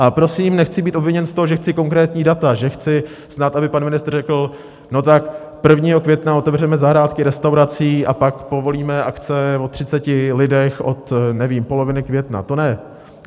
A prosím, nechci být obviněn z toho, že chci konkrétní data, že chci snad, aby pan ministr řekl: No, tak 1. května otevřeme zahrádky restaurací a pak povolíme akce o 30 lidech od - nevím - poloviny května, to ne.